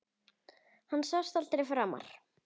Hann sást aldrei framar.